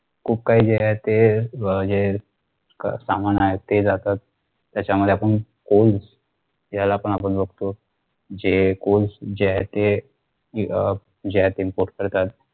खूप काहिंजे आहे ते अह जे की सामान आहे ते जात त्याच्यामध्ये आपण coals त्यालापण आपण बघतों जे coals जे आहे ते अह जे आहे ते import करतात